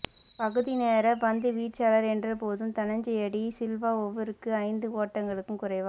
பகுதி நேரப் பந்துவீச்சாளர் என்றபோதும் தனஞ்சய டி சில்வா ஓவருக்கு ஐந்து ஓட்டங்களுக்கும் குறைவா